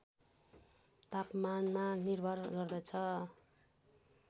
तापमानमा निर्भर गर्दछ